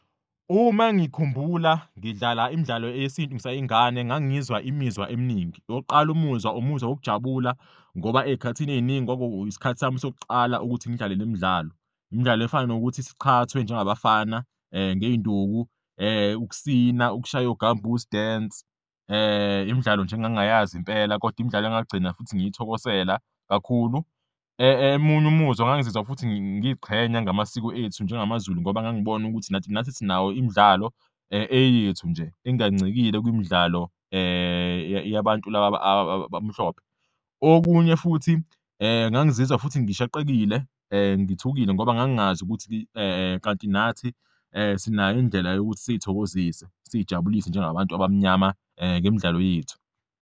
Uma ngikhumbula ngidlala imidlalo eyesintu ngisayingane, ngangizwa imizwa eminingi, owokuqala umuzwa umuzwa wokujabula ngoba ey'khathini ey'ningi kwakuisikhathi sami sokuqala ukuthi ngidlale le midlalo. Imidlalo efana nokuthi siqhathwe njengabafana ngey'nduku, ukusina, ukushaya o-gumboots dance, imidlalo nje engangingayazi impela kodwa imidlalo engagcina futhi ngiyithokosela kakhulu. Emunye umuzwa, ngangizwa futhi ngiy'qhenya ngamasiko ethu njengamaZulu ngoba ngangibona ukuthi nathi sinawo imidlalo eyethu nje, engancikile kumidlalo yabantu laba abamhlophe. Okunye futhi, ngangizizwa futhi ngishaqekile, ngithukile ngoba ngangingazi ukuthi kanti nathi sinayo indlela yokuthi siyithokozise, siyijabulise njengabantu abamnyama ngemidlalo yethu.